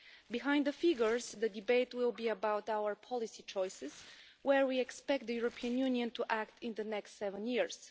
Behind the figures, the debate will be about our policy choices and where we expect the European Union to act in the next seven years.